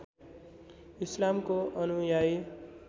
इस्लामको अनुयायी